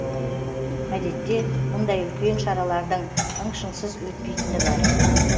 әдетте мұндай үлкен шаралардың ың шыңсыз өтпейтіні бар